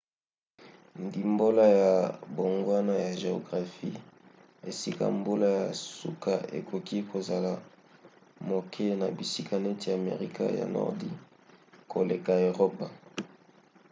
ndimbola ya mbongwana ya geographie esika mbula ya suka ekoki kozala moke na bisika neti amerika ya nordi koleka na eropa